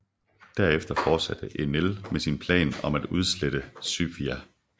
Derefter fortsatte Enel med sin plan om at udslette Skypia